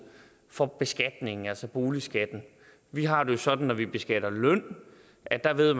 for beskatningen altså boligskatten vi har det jo sådan når vi beskatter løn at der ved